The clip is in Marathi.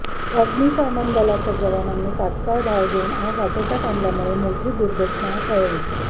अग्निशामन दलाच्या जवानांनी तात्काळ धाव घेऊन आग आटोक्यात आणल्यामुळे मोठी दुर्घटनी टळली